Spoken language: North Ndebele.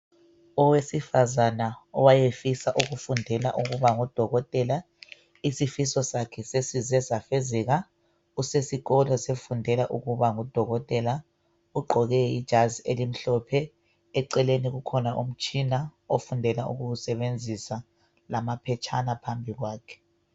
Owesifazana owayefisa ukufundela ukuba ngudokotela. Isifiso sakhe sesize safezeka. Usesikolo sefundela ukuba ngudokotela. Ugqoke ijazi elimhlophe. Eceleni kukhona umtshina ofundela ukuwusebenzisa lamaphetshana phambi kwakhe.